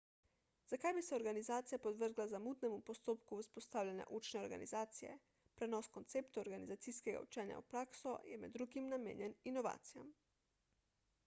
zakaj bi se organizacija podvrgla zamudnemu postopku vzpostavljanja učne organizacije prenos konceptov organizacijskega učenja v prakso je med drugim namenjen inovacijam